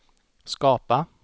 skapa